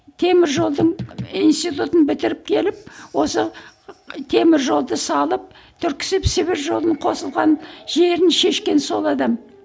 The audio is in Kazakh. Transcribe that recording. темір жолдың институтын бітіріп келіп осы темір жолды салып түрксиб сібір жолын қосылған жерін шешкен сол адам